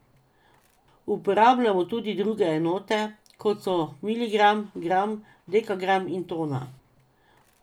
Uporabljamo tudi druge enote, kot so miligram, gram, dekagram in tona.